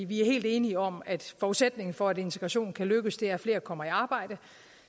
vi er helt enige om at forudsætningen for at integrationen kan lykkes er at flere kommer i arbejde